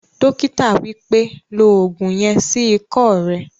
Dókítà wípẹ́, "lo ògùn yen sí ikọ́ rẹ